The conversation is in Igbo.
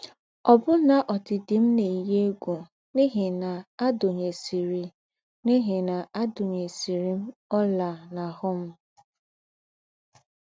Ọ́bụ́nà ódìdì m̀ ná-èyí égwù n’íhí ná àdùnyèsìrì n’íhí ná àdùnyèsìrì m ọ́là n’àhụ́ m.